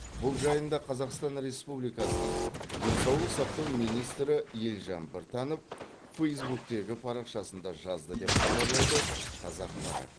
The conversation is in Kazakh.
бұл жайында қазақстан республикасының денсаулық сақтау министрі елжан біртанов фейзбуктегі парақшасында жазды деп хабарлайды қазақпарат